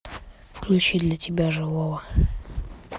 включи для тебя живого